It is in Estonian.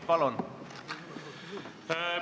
Palun!